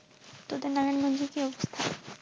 তোদের নারায়ণ গঞ্জে কি অবস্থা?